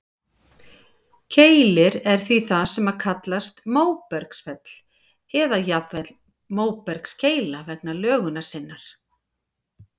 Keilir er því það sem kallast móbergsfell, eða jafnvel móbergskeila vegna lögunar sinnar.